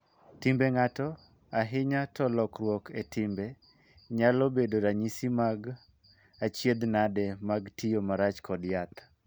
Timbe ng'ato, ahinya to lokruok e timbe, nyalo bedo ranyisi mag achiedhnage mag tiyo march kod yath.